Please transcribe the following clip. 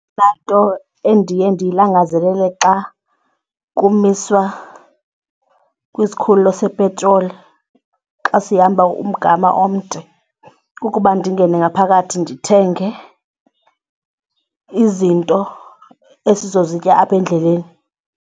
Eyona nto endiye ndiyilangazelele xa kumiswa kwisikhululo sepetroli xa sihamba umgama omde kukuba ndingene ngaphakathi ndithenge izinto esizozitya apha endleleni.